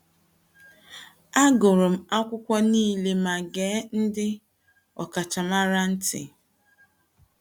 Agụrụ m akwụkwọ nile ma gee ndị ọkachamara nile ntị.